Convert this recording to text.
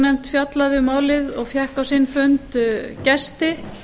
nefndin fjallaði um málið og fékk á sinn fund gesti